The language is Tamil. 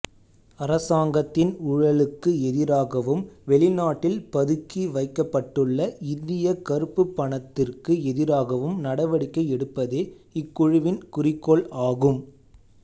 அரசாங்கத்தின் ஊழலுக்கு எதிராகவும் வெளிநாட்டில் பதுக்கி வைக்கப்பட்டுள்ள இந்திய கறுப்புப் பணத்திற்கு எதிராகவும் நடவடிக்கை எடுப்பதே இக்குழுவின் குறிக்கோள் ஆகும்